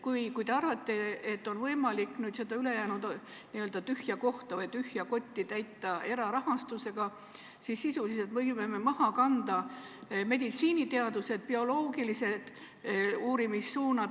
Kui te arvate, et on võimalik seda ülejäänud n-ö tühja kohta või tühja kotti täita erarahastusega, siis sisuliselt võime me maha kanda meditsiiniteadused, bioloogilised uurimissuunad.